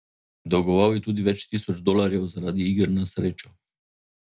Dolgoval je tudi več tisoč dolarjev zaradi iger na srečo.